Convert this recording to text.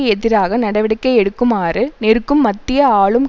எதிராக நடவடிக்கை எடுக்குமாறு நெருக்கும் மத்திய ஆளும்